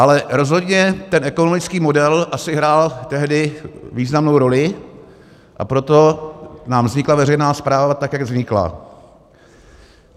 Ale rozhodně ten ekonomický model asi hrál tehdy významnou roli, a proto nám vznikla veřejná správa tak, jak vznikla.